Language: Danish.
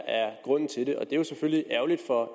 er grunden til det og det jo selvfølgelig ærgerligt for